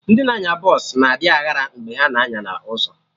Ndị na-anya bọsụ na adị aghara mgbe ha na-anya na ụzọ